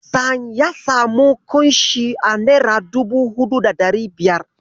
Hassan ya samu ƙunshin a nera dubu huɗu da ɗari biyar.